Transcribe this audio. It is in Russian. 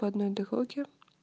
по одной дороге